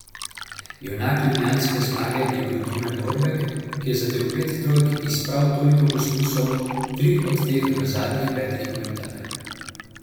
Junak ljubljanske zmage je bil Domen Lorbek, ki je zadel pet trojk iz prav toliko poskusov, tri od teh v zadnjih petih minutah.